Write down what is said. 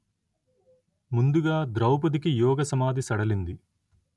ముందుగా ద్రౌపదికి యోగసమాధి సడలింది